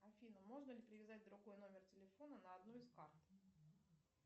афина можно ли привязать другой номер телефона на одну из карт